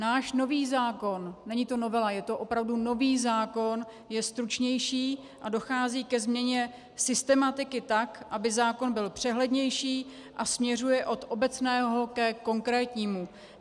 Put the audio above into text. Náš nový zákon - není to novela, je to opravdu nový zákon - je stručnější a dochází ke změně systematiky tak, aby zákon byl přehlednější, a směřuje od obecného ke konkrétnímu.